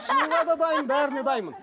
дайынмын бәріне дайынмын